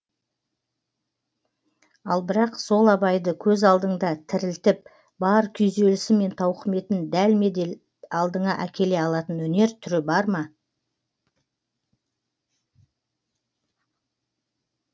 ал бірақ сол абайды көз алдыңда тірілтіп бар күйзелісі мен тауқіметін дәлме дәл алдыңа әкеле алатын өнер түрі бар ма